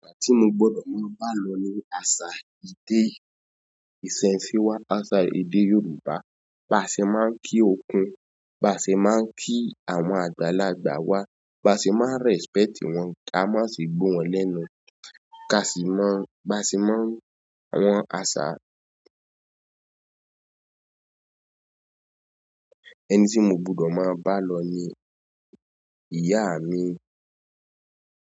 Asa tí mo gbọ́dọ̀ máa bá lọ ní àṣà iṣẹ́, ìsese wa, àṣà èdè Yorùbá. Baṣe máa ń kí okùn, baṣe máa ń kí àwọn àgbàlagbà wa, baṣe máa ń respect wọn, ká má ṣe gbó wọn lẹ́nu, ká sì mọ, bá sì mọ àwọn àṣà. Ẹni tí mo gbọ́dọ̀ máa bá lọ ní ìyá mi.